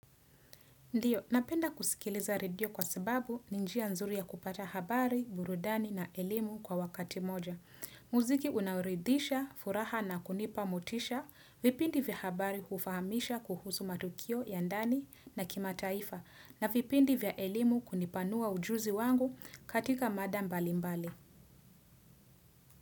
Ndiyo, napenda kusikiliza radio kwa sababu ni njia nzuri ya kupata habari, burudani na elimu kwa wakati moja. Muziki unaoridhisha, furaha na kunipa motisha, vipindi vya habari hufahamisha kuhusu matukio ya ndani na kimataifa na vipindi vya elimu hunipanua ujuzi wangu katika mada mbalimbali.